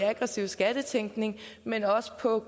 aggressiv skattetænkning men også på